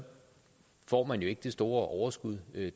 får man jo ikke det store overskud